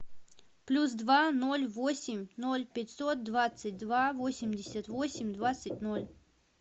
плюс два ноль восемь ноль пятьсот двадцать два восемьдесят восемь двадцать ноль